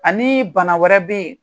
Ani bana wɛrɛ bɛ yen,